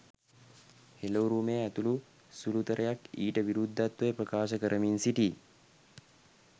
හෙළ උරුමය ඇතුළු සුළුතරයක් ඊට විරුද්ධත්වය ප්‍රකාශ කරමින් සිටී.